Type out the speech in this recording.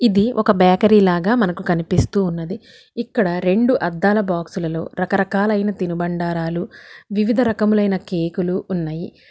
ఇది ఒక బేకరి లాగ మనకు కనిపిస్తూ ఉన్నది ఇక్కడ రెండు అద్దాల బాక్సులలో రకరకాలైన తినుబండారాలు వివిధ రాకములైన కేకులు ఉన్నాయి.